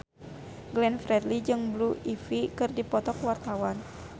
Glenn Fredly jeung Blue Ivy keur dipoto ku wartawan